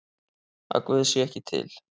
Að Guð sé ekki til?